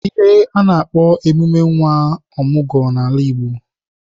Ihe a na-akpo emume nwa ọmụgwọ n'ala Igbo.